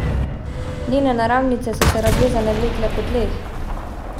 Njene naramnice so se razvezane vlekle po tleh.